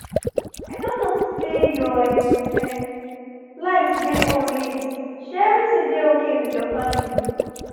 i don notice say your um um light dey on late — shey everything dey okay with your family?